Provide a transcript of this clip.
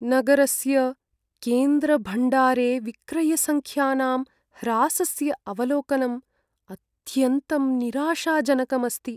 नगरस्य केन्द्रभण्डारे विक्रयसङ्ख्यानां ह्रासस्य अवलोकनम् अत्यन्तं निराशाजनकम् अस्ति।